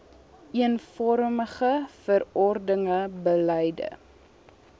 eenvormige verordenige beleide